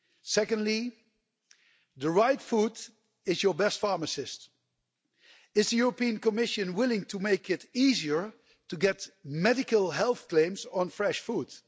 Secondly, the right food is your best pharmacist. Is the European Commission willing to make it easier to get medical health claims on fresh foods?